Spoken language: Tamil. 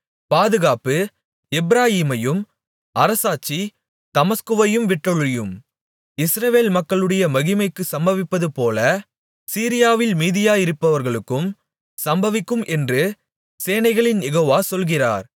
பாதுகாப்பு எப்பிராயீமையும் அரசாட்சி தமஸ்குவையும் விட்டொழியும் இஸ்ரவேல் மக்களுடைய மகிமைக்கு சம்பவித்ததுபோல சீரியாவில் மீதியாயிருப்பவர்களுக்கும் சம்பவிக்கும் என்று சேனைகளின் யெகோவா சொல்கிறார்